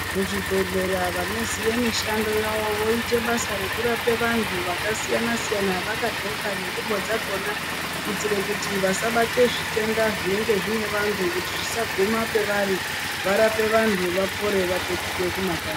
Muzvibhendlera vanoziye mushando yavo voita basa rekurapa vantu zvakasiyana siyana. Vakagloka nengubo dzakhona kuitira kuti vasabate zvitenda zvinenge zvine vantu kuti zvisaguma pavari varape vantu. Vapore, vapetuke kumakanyi.